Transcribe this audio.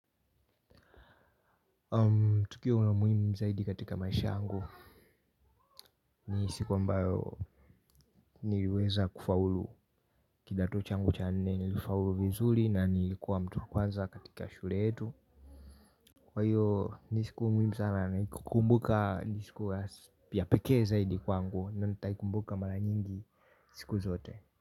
Tukio la muhiimu zaidi katika maisha yangu ni siku ambayo niliweza kufaulu kidato changu cha nne, nilifaulu vizuli na nilikuwa mtu kwanza katika shure yetu, kwa hiyo ni siku muhimu sana ni kukumbuka ni sikuwa ya pekee zaidi kwangu. Ndio nitaikumbuka mara nyingi, siku zote.